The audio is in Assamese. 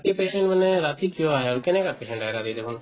patient মানে ৰাতি কিয় আহে আৰু কেনেকুৱা patient আহে ৰাতি দেখুন